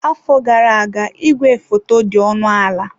Afọ gara aga igwefoto dị ọnụ ala.